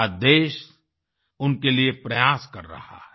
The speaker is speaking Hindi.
आज देश उनके लिए प्रयास कर रहा है